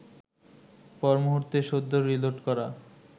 পর মুহূর্তে সদ্য রিলোড করা